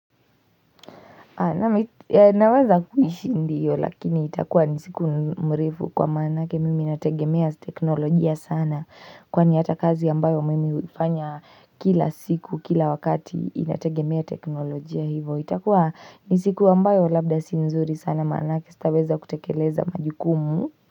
Naweza kuishi ndiyo lakini itakuwa ni siku mrefu kwa manake mimi nategemea teknolojia sana Kwani hata kazi ambayo mimi hufanya kila siku kila wakati inategemea teknolojia hivo itakuwa ni siku ambayo labda si nzuri sana manake sitaweza kutekeleza majukumu.